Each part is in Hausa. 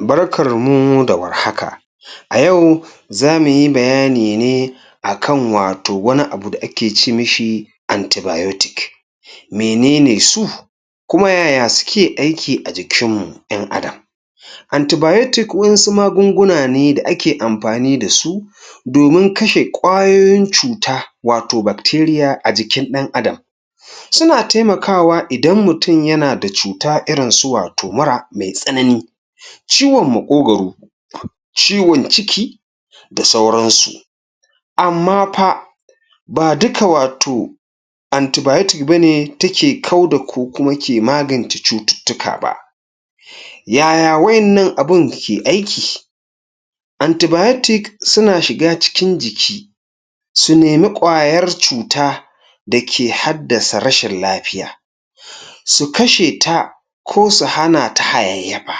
Barkarmu da war haka! A yau za mu yi bayani a kan wato wani abu da ake mishi antibayotik. Mene ne su kuma yaya suke aiki a jikinmu ƴan'adam? Antibayotik waƴansu magunguna ne da ake amfani da su domin kashe ƙwayoyin cuta wato bakteriya a jikin ɗan'adam Suna taimakawa idan mutum yana da cuta su wato mura mai tsanani, ciwon maƙogoro, ciwon ciki, da sauransu. Amma fa, ba duka wato antibayotik ba ne take kau da ko kuma ke magance cututtuka ba. Yaya waƴannan abin ke aiki? Antibayotik suna shiga cikin jiki su nemi ƙwayar cuta da ke haddasa rashin lafiya su kashe ta ko su hana ta hayayyafa.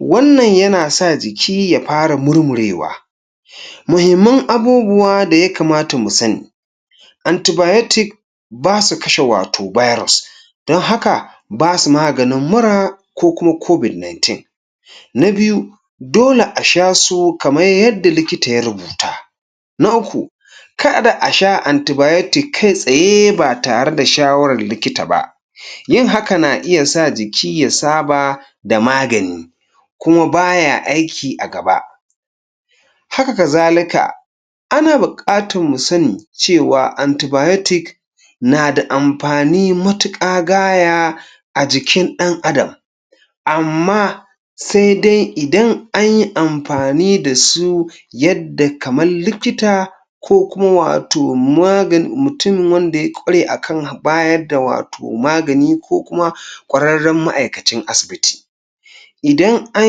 Wannan ya sa jiki ya fara murmurewa Muhimman abubuwa da ya kamatamu sani: Antibayotik ba su kashe wato bairos, don haka ba su maganin mura ko kuma Covid-19 Na biyu, dole a sha su kaman yadda likita ya rubuta. Na uku, karda a sha antibayotik kai-tsaye ba tare da shawarar likita ba Yin haka na iya sa jiki ya saba da magani kuma ba ya aiki a gaba. Haka kazalika, ana buƙatan mu sani cewa antibayotik na da amfani matuƙa gaya a jikin ɗan'adam. Amma sai dai idan an yi amfani da su yadda kaman likita ko kuma wato magan, mutumin wanda ya ƙware a kan bayar da wato magani ko kuma ƙwararren ma'aikacin asibiti. Idan an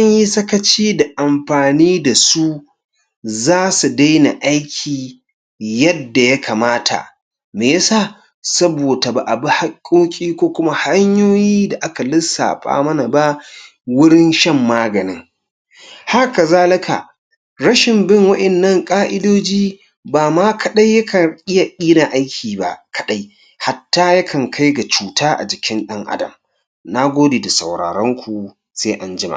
yi sakaci da amfani da su za su daina aiki yadda ya kamata Me ya sa? Saboda ba a bi hakkokin ko kuma hanyoyi da aka lissafa mana ba wurin shan maganin. Haka kazalika, rashin bin waƴannan ƙa'idoji ba ma kaɗai yakan iya ƙin aiki ba kaɗai hatta yakan kai ga cuta a jikin ɗan'adam. Na gode da sauraronku. Sai an jima.